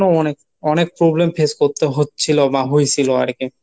আরো অনেক অনেক problem face করতে হচ্ছিলো বা হইছিলো আরকী।